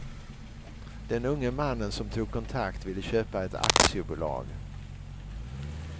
Den unge mannen som tog kontakt ville köpa ett aktiebolag.